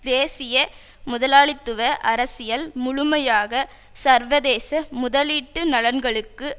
தேசிய முதலாளித்துவ அரசியல் முழுமையாக சர்வதேச முதலீட்டு நலன்களுக்கு